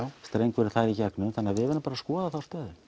strengurinn þar í gegnum þannig að við verðum bara að skoða þá stöðu